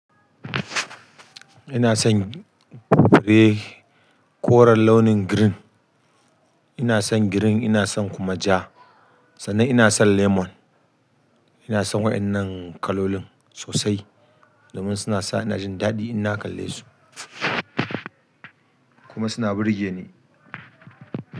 Ina son fure koren launin green, ina son green ina son kuma ja, sannan ina son lemon. Ina son waƴannan kalolin sosai domin suna sa ina jin daɗi in na kalle su kuma suna burge ni.